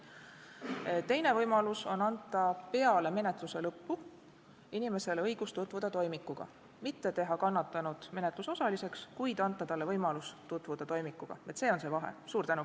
Teine võimalus on anda peale menetluse lõppu inimesele õigus tutvuda toimikuga – mitte teha kannatanut menetlusosaliseks, kuid anda talle võimalus tutvuda toimikuga, see on see vahe.